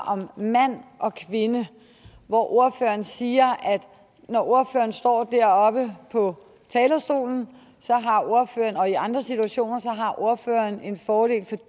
om mand og kvinde og ordføreren siger at når ordføreren står deroppe på talerstolen og i andre situationer så har ordføreren en fordel